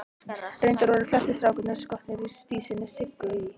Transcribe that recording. Reyndar voru flestir strákanna skotnir í dísinni Siggu í